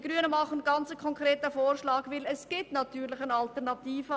Die Grünen machen einen konkreten Vorschlag, und es gibt natürlich eine Alternative.